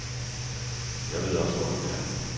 Jeg ved også hvor den er.